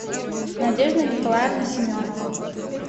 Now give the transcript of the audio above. надежда николаевна семенова